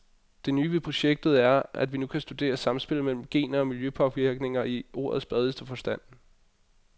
Det nye ved projektet er, at vi nu kan studere samspillet mellem gener og miljøpåvirkninger i ordets bredeste forstand.